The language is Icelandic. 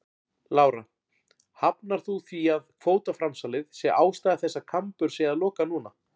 Lára: Hafnar þú því að kvótaframsalið sé ástæða þess að Kambur sé að loka núna?